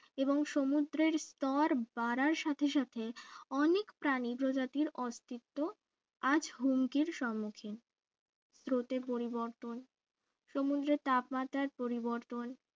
এবং সমুদ্রের স্তর বাড়ার সাথে সাথে অনেক প্রাণী প্রজাতির অস্তিত্ব আজ হুমকির সম্মুখীন স্রোতের পরিবর্তন সমুদ্রে তাপমাত্রার পরিবর্তন